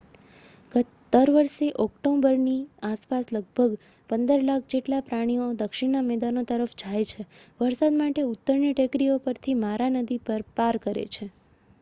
દર વર્ષે ઓક્ટોબરની આસપાસ લગભગ 15 લાખ જેટલા પ્રાણીઓ દક્ષિણના મેદાનો તરફ જાય છે વરસાદ માટે ઉત્તરની ટેકરીઓ પરથી મારા નદી પાર કરે છે